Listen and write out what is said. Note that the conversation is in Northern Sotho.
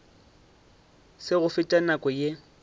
se go fete nako ye